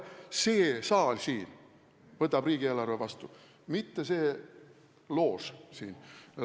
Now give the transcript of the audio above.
See saal siin võtab riigieelarve vastu, mitte see loož siin.